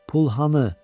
Pul hanı?